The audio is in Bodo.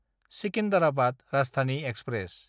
सिकिन्डाराबाद राजधानि एक्सप्रेस